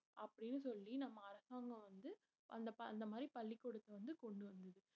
அப்படின்னு சொல்லி நம்ம அரசாங்கம் வந்து அந்த ப~ அந்த மாதிரி பள்ளிக்கூடத்தை வந்து கொண்டு வந்தது.